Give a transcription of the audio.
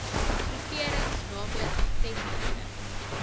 groeperings naamlik gevestigde